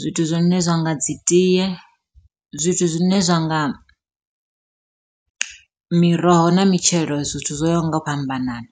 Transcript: zwithu zwine zwa nga dzi tie, zwithu zwine zwa nga miroho na mitshelo zwithu zwo yaho nga u fhambanana.